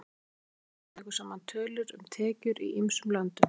Alþjóðabankinn tekur saman tölur um tekjur í ýmsum löndum.